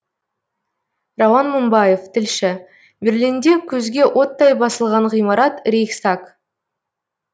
рауан мыңбаев тілші берлинде көзге оттай басылған ғимарат рейхстаг